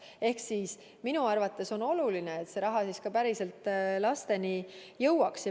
Ent minu arvates on oluline, et see raha ka päriselt lasteni jõuaks.